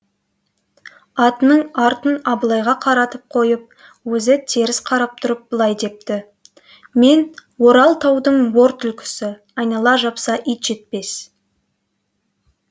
атының артын абылайға қаратып қойып өзі теріс қарап тұрып былайдепті мен орал таудың ор түлкісі айнала жапса ит жетпес